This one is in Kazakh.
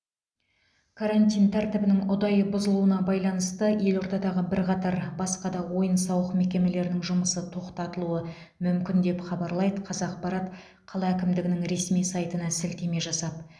карантин тәртібінің ұдайы бұзылуына байланысты елордадағы бірқатар басқа да ойын сауық мекемелерінің жұмысы тоқтатылуы мүмкін деп хабарлайды қазақпарат қала әкімдігінің ресми сайтына сілтеме жасап